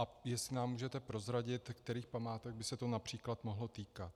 A jestli nám můžete prozradit, kterých památek by se to například mohlo týkat.